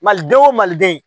Maliden o maliden